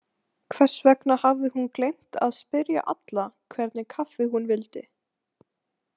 Hvers vegna hafði hún gleymt að spyrja alla hvernig kaffi hún vildi?